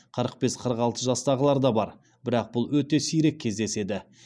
қырық бес қырық алты жастағылар да бар бірақ бұл өте сирек кездеседі